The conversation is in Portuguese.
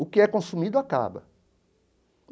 O que é consumido acaba.